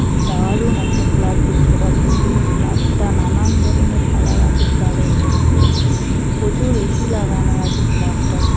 দা-রু-ন একটা ফ্ল্যাট দেখতে পাচ্ছি- ই ফ্ল্যাটটা নানান ধরনের কালার আছে ফ্ল্যাটের মধ্যে প্রচুর এ.সি লাগানো আছে ফ্ল্যাটটা--